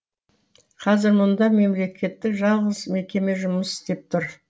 қазір мұнда мемлекеттік жалғыз мекеме жұмыс істеп тұр